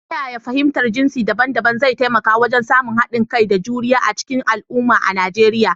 Ta yaya fahimtar jinsi daban-daban zai taimaka wajen samun haɗin kai da juriya a cikin al’umma a Nijeriya?